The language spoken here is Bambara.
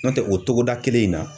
N'o tɛ o togoda kelen in na.